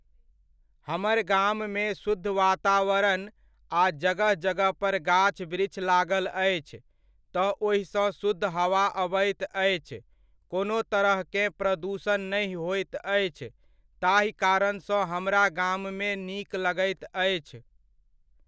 हमर गाममे शुद्ध वातावरण आ जगह जगह पर गाछ वृक्ष लागल अछि तऽ ओहिसँ शुद्ध हवा अबैत अछि, कोनो तरहकेँ प्रदुषण नहि होइत अछि, ताहि कारणसँ हमरा गाममे नीक लगैत अछि।